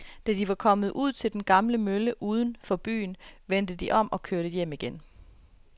Da de var kommet ud til den gamle mølle uden for byen, vendte de om og kørte hjem igen.